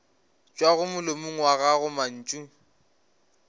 tšwago molomong wa gago mantšu